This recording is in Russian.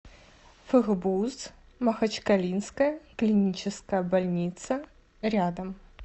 фгбуз махачкалинская клиническая больница рядом